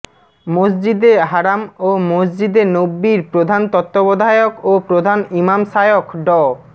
মসজিদে হারাম ও মসজিদে নববির প্রধান তত্ত্ববধায়ক ও প্রধান ইমাম শায়খ ড